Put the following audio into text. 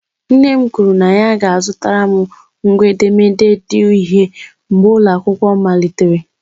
Nne m kwuru na ya ga-azụtara m ngwa edemede di uhie mgbe ụlọ akwụkwọ malitere.